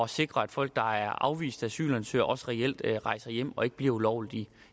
sikre at folk der er afviste asylansøgere også reelt rejser hjem og ikke bliver ulovligt